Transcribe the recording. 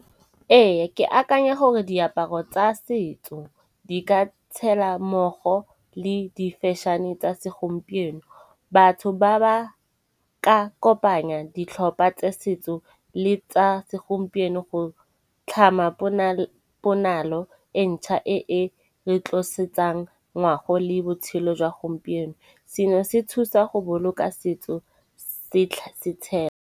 Ee, ke akanya gore diaparo tsa setso di ka tshela mmogo le di-fashion-e tsa se segompieno. Batho ba ba ka kopanya ditlhopha tsa setso le tsa segompieno go tlhama ponalo e ntšha e e re tlosetsang ngwago le botshelo jwa gompieno. Seno se thusa go boloka setso setshega.